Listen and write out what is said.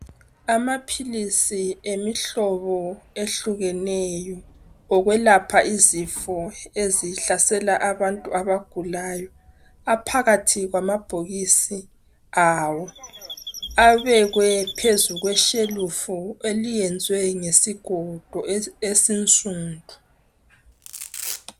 Amaphilisi emihlobo ehlukeneyo yokwelapha izifo ezihlalesala abantu abagulayo, aphakathi kwamabhokisi awo abekwe phezulu kweshelufu eliyenzwe ngesigodo esisundu.